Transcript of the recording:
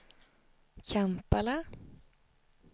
Kampala